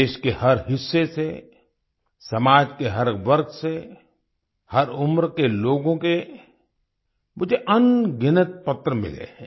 देश के हर हिस्से से समाज के हर वर्ग से हर उम्र के लोगों के मुझे अनगिनत पत्र मिले हैं